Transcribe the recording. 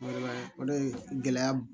Wala o de ye gɛlɛya